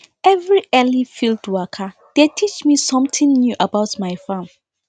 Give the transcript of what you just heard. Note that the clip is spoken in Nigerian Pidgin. every early field waka dey teach me something new about my farm